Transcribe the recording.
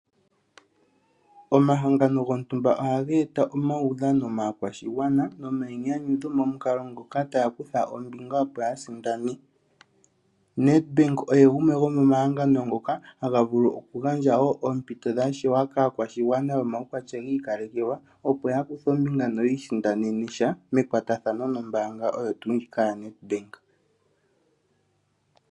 Omahangano gontumba ohaga eta omawudhano maakwashigwana noma inyanyudho momukalo ngoka taya kutha ombinga opo ya sindane ,NEDBANK oye gumwe gomo mahangano ngoka haga vulu oku gandja wo oompito dha shewa kaakwashigwana yo mawukwatya giikalekelwa opo ya kuthe ombinga no yiisindanene sha mekwatathano no mbaanga oyo tuu ndjika ya NEDBANK.